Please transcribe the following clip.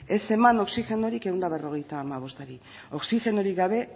ez eman oxigenorik ehun eta berrogeita hamabostari oxigenori gabe